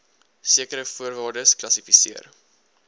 sekere voorwaardes kwalifiseer